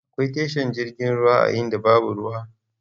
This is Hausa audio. Akwai tashar jirgin ruwa a inda babu ruwa?